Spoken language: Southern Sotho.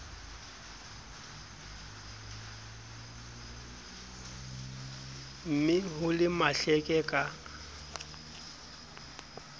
ne ho le mahleke ka